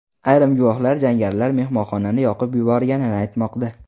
Ayrim guvohlar jangarilar mehmonxonani yoqib yuborganini aytmoqda.